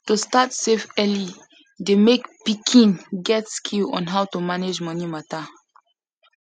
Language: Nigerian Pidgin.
to start save early dey make pikin get skill on how to to manage money matter